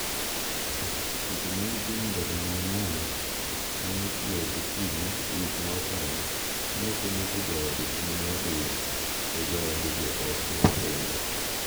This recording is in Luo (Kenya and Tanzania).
seche ma Eugine Ndereyimana ne ochiew gokinyi wik ma okalo. ne okonyiso jaode kuma ne odhiye. to jaode be ok ne openje